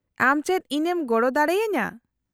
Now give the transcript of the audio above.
-ᱟᱢ ᱪᱮᱫ ᱤᱧ ᱮᱢ ᱜᱚᱲᱚ ᱫᱟᱲᱮ ᱟᱹᱧᱟᱹ ?